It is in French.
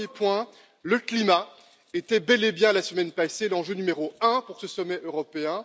Premier point le climat était bel et bien, la semaine passée, l'enjeu numéro un pour ce sommet européen.